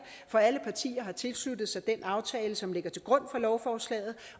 for alle partier har tilsluttet sig den aftale som ligger til grund for lovforslaget